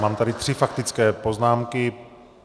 Mám tady tři faktické poznámky.